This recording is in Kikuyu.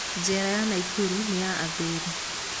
Njera ya Nakuru nĩ ya athuri.